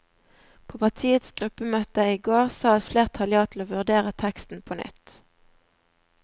På partiets gruppemøte i går sa et flertall ja til å vurdere teksten på nytt.